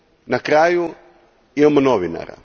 Na kraju, imamo novinara.